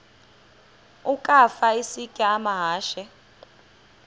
ukafa isitya amahashe